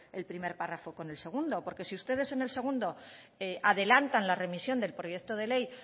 el primer párrafo con el segundo porque si ustedes en el segundo adelantan la remisión del proyecto de ley